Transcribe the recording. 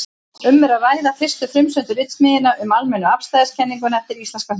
Um er að ræða fyrstu frumsömdu ritsmíðina um almennu afstæðiskenninguna eftir íslenskan höfund.